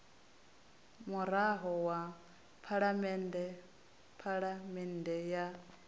murado wa phalamende phafamende ya